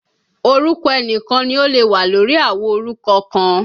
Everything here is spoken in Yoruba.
Orúkọ ẹnìkan ni ó lè wà lórí àwo orúkọ kan